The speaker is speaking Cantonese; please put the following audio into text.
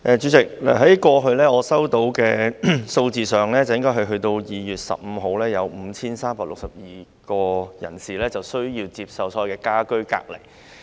主席，據我收到的數字，截至2月15日，共有5362名人士需要接受家居隔離。